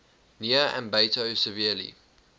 near ambato severely